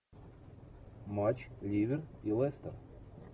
матч ливер и лестер